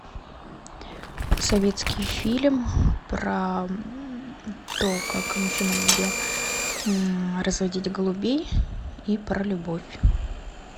советский фильм про то как мужчина любил разводить голубей и про любовь